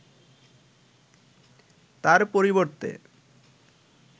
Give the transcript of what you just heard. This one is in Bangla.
তার পরিবর্তে